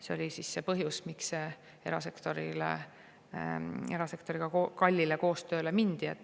See oli põhjus, miks erasektoriga kallile koostööle mindi.